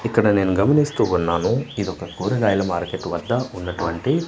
ఇక్కడ నేను గమనిస్తూ ఉన్నాను ఇది ఒక కూరగాయల మార్కెట్ వద్ద ఉన్నటువంటి--